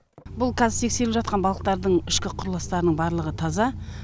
бұл қазір текесеріліп жатқан балықтардың ішкі құрылыстарының барлығы таза